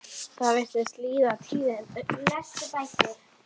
Það virðist liðin tíð.